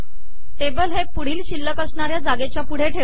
table हे पुढील शिल्लक असणाऱ्या जागेच्या पुढे ठेवते